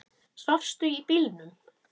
Svafstu í bílnum?